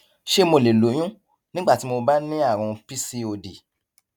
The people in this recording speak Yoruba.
ṣé mo lè lóyún nígbà tí mo bá ń ní àrùn pcod